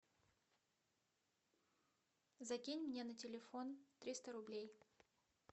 закинь мне на телефон триста рублей